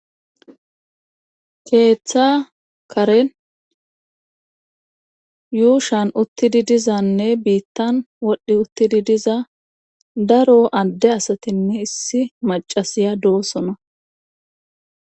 Keetha karen yuushan uttidi dizanne wodhi uttidi diza daro adde asatinne essi maccasiya doosona